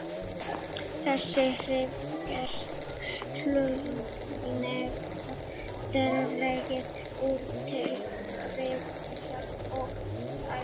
Þessi áhrif geta hugsanlega dregið úr tilurð og virkni hjarta- og æðasjúkdóma.